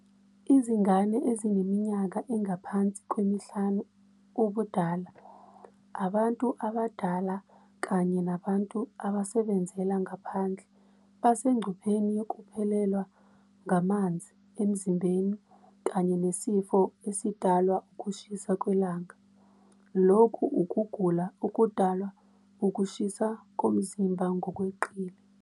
Izingane ezineminyaka engaphansi kwemihlanu ubudala, abantu abadala kanye nabantu abasebenzela ngaphandle basengcupheni yokuphelelwa ngamanzi emzimbeni kanye nesifo esidalwa ukushisa kwelanga, lokhu ukugula okudalwa ukushisa komzimba ngokweqile.